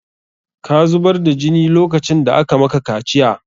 Ka zubar da jini lokacin da aka maka kaciya!